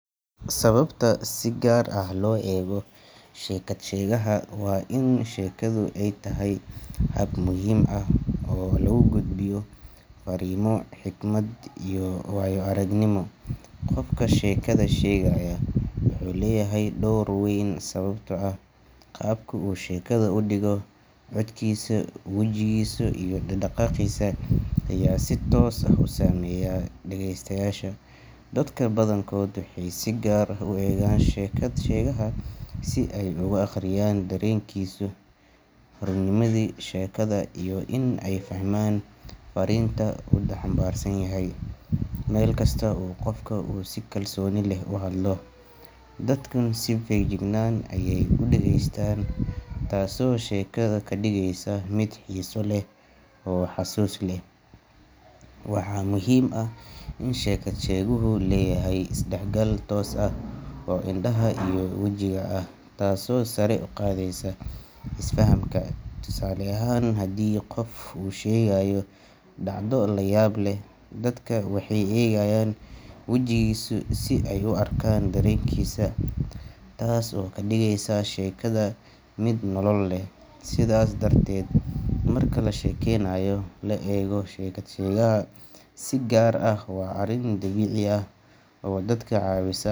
Sababta si gaar ah loo eego sheekad-shegaha waa in sheekadu ay tahay hab muhiim ah oo lagu gudbiyo farriimo, xikmad, iyo waayo-aragnimo. Qofka sheekada sheegaya wuxuu leeyahay door weyn, sababtoo ah qaabka uu sheekada u dhigo, codkiisa, wejigiisa, iyo dhaqaaqiisa ayaa si toos ah u saameeya dhageystayaasha. Dadka badankood waxay si gaar ah u eegaan sheekad-shegaha si ay uga akhriyaan dareenkiisa, runnimada sheekada, iyo in ay fahmaan fariinta uu xambaarsan yahay. Markasta oo qofka uu si kalsooni leh u hadlo, dadkuna si feejigan ayey u dhegeystaan, taasoo sheekada ka dhigaysa mid xiiso leh oo xusuus leh. Waxaa muhiim ah in sheekad-sheguhu leeyahay isdhexgal toos ah oo indhaha iyo wejiga ah, taasoo sare u qaadaysa isfahamka. Tusaale ahaan, haddii qof uu sheegayo dhacdo la yaab leh, dadka waxay eegayaan wejigiisa si ay u arkaan dareenkiisa – taas oo ka dhigaysa sheekada mid nolol leh. Sidaas darteed, marka la sheekaynayo, la eego sheekad-shegaha si gaar ah waa arrin dabiici ah oo dadka caawisa.